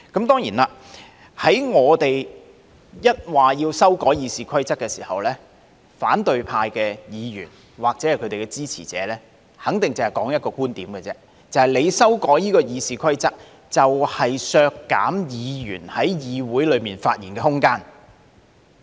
當然，當我們表示要修改《議事規則》時，反對派議員或其支持者肯定只說出一種觀點：修改《議事規則》，就是削減議員在議會內發言的空間。